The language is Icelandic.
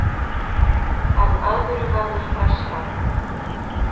En öðru verður frestað.